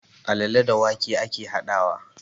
Alale da wake ake haɗawa